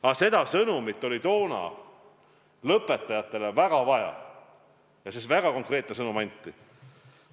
Aga seda sõnumit oli tookord lõpetajatele väga vaja ja see väga konkreetne sõnum anti.